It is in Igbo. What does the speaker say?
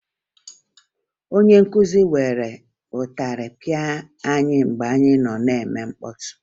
Onye nkụzi were ịtarị pịa anyị mgbe anyị nọ na-eme mkpọtụ